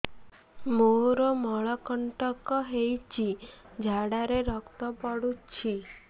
ମୋରୋ ମଳକଣ୍ଟକ ହେଇଚି ଝାଡ଼ାରେ ରକ୍ତ ପଡୁଛି